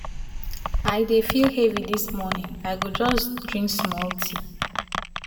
i dey feel heavy this morning i go just drink small tea